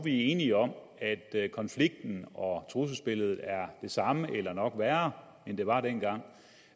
enige om at konflikten og trusselsbilledet er det samme eller nok værre end det var dengang